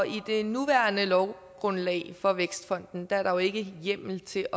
i det nuværende lovgrundlag for vækstfonden er der jo ikke hjemmel til